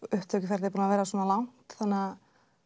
upptökuferlið er búið að vera svona langt þannig að